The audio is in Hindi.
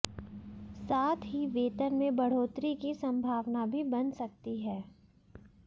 साथ ही वेतन में बढ़ोतरी की संभावना भी बन सकती है